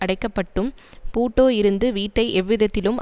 அடைக்கப்பட்டும் பூட்டோ இருந்து வீட்டை எவ்விதத்திலும்